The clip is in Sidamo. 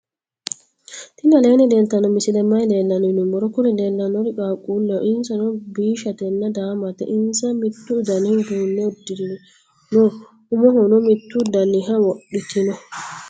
tini aleni leltano misileni maayi leelano yinnumoro. kuuri lelanori qaquleho. insano bishatena daamate. insa mittu dani uduune udiirino. umohono mitu daniha wodhitino.